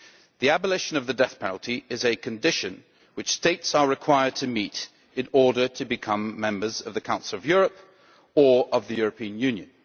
The abolition of the death penalty is a condition which States are required to meet in order to become members of the Council of Europe or of the European Union.